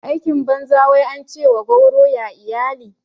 Aikin banza wai ance wa gauro ya iyali